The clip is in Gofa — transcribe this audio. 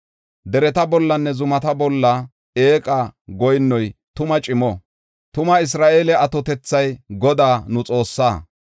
Dereta bollanne zumata bolla eeqa goyinnoy tuma cimo. Tuma Isra7eele atotethay Godaa, nu Xoossaa.